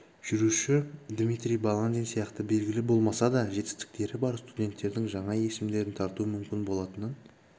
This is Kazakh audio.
жүруші дмитрий баландин сияқты белгілі болмаса да жетістіктері бар студенттердің жаңа есімдерін тарту мүмкін болатынын